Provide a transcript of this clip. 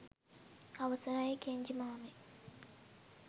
අවසරයි ! කෙන්ජි මාමෙ